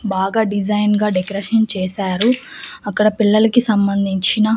బాగా డిజైన్ గా డెకరేషన్ చేశారు అక్కడ పిల్లలకి సంబంధించిన--